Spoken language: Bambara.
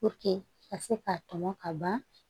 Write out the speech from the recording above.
ka se ka tɔmɔ ka ban